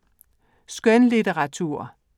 Skønlitteratur